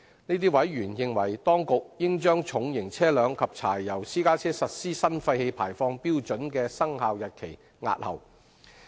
這些委員認為當局應將重型車輛及柴油私家車實施新廢氣排放標準的生效日期押後。